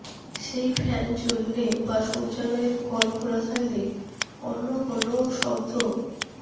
সেই ফ্যান চললে বা শৌচালয়ের কল খোলা থাকলে অন্য কোনও শব্দ